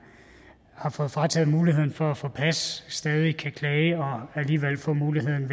har fået frataget muligheden for at få et pas stadig kan klage og alligevel få muligheden